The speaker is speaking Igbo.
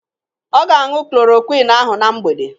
Ọ ga-añụ klorokwin ahụ na mgbede.